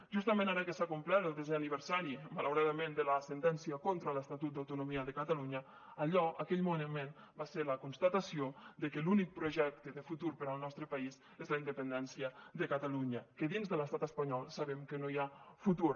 justament ara que s’ha complert el desè aniversari malauradament de la sentència contra l’estatut d’autonomia de catalunya allò aquell moviment va ser la constatació de que l’únic projecte de futur per al nostre país és la independència de catalunya que dins de l’estat espanyol sabem que no hi ha futur